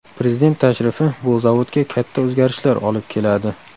Prezident tashrifi bu zavodga katta o‘zgarishlar olib keladi.